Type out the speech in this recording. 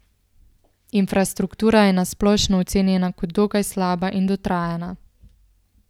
Infrastruktura je na splošno ocenjena kot dokaj slaba in dotrajana.